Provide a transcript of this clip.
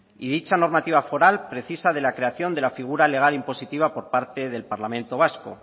y dicha normativa foral precisa de la creación de la figura legal impositiva por parte del parlamento vasco